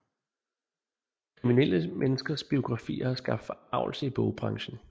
Kriminelle menneskers biografier har skabt forargelse i bogbranchen